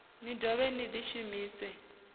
ni dovhe ni ḽi shumise